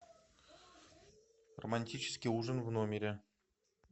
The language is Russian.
романтический ужин в номере